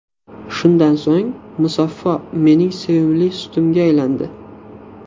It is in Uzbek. Shundan so‘ng, Musaffo mening sevimli sutimga aylandi.